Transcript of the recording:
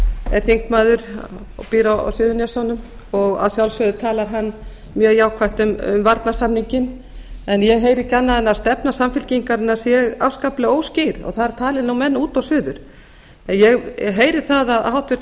er þingmaður og býr á suðurnesjunum og að sjálfsögðu talar hann mjög jákvætt um varnarsamninginn en ég heyri ekki annað en að stefna samfylkingarinnar sé afskaplega óskýr og þar tali nú menn út og suður en ég heyri að háttvirtur